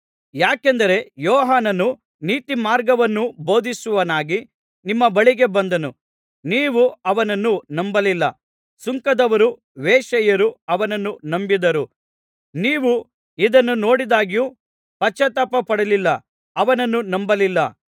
ಯಾಕೆಂದರೆ ಯೋಹಾನನು ನೀತಿಮಾರ್ಗವನ್ನು ಬೋಧಿಸುವವನಾಗಿ ನಿಮ್ಮ ಬಳಿಗೆ ಬಂದನು ನೀವು ಅವನನ್ನು ನಂಬಲಿಲ್ಲ ಸುಂಕದವರು ವೇಶ್ಯೆಯರು ಅವನನ್ನು ನಂಬಿದರು ನೀವು ಇದನ್ನು ನೋಡಿದ್ದಾಗ್ಯೂ ಪಶ್ಚಾತ್ತಾಪ ಪಡಲಿಲ್ಲ ಅವನನ್ನು ನಂಬಲಿಲ್ಲ